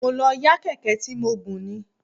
Mo lọ yá Kẹ̀kẹ́ tí mo gùn ni.